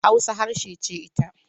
Hausa harshe ce ita.